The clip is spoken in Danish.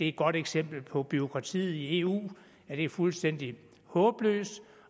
et godt eksempel på bureaukratiet i eu at det er fuldstændig håbløst